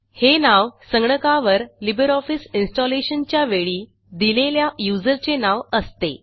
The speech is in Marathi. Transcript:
हे नाव संगणकावर लिबर ऑफिस इन्स्टॉलेशनच्या वेळी दिलेल्या यूझर चे नाव असते